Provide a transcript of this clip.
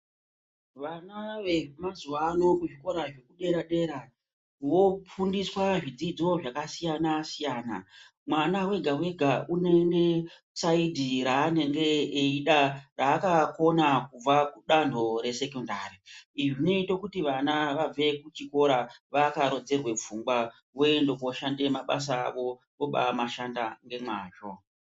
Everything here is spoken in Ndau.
Vana vemazuva ano kuzvikora zvedera dera vofundiswa zvidzidzo zvakasiyana siyana. Mwana wega wega unoende kusaidhi raanenge eida raakakona kubva kudanho resekondari. Izvi zvinoita kuti vana vabveyo kuchikora vakarodzerwe pfungwa vooenda kooshande mabasa awo vobamashanda ngemwazvo.